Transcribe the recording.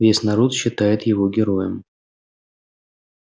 весь народ считает его героем